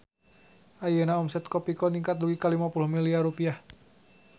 Ayeuna omset Kopiko ningkat dugi ka 50 miliar rupiah